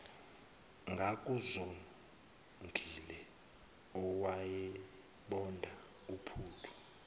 ngakuzongile owayebonda uphuthu